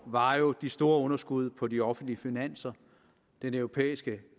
var jo de store underskud på de offentlige finanser den europæiske